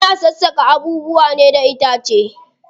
Ana sassaka abubuwa ne da itace.